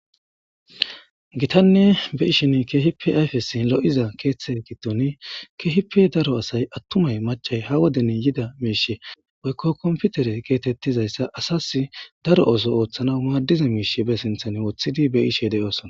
gitanne be ishin kehipi ayfesin lo7iza keeththe gidton kehipe daro asay attumay macay ha woden yida miishe woykko komputere keetettizayssa asas daro oso ooththana maaddiza miishe be sinthan wothidi be ishe deoosona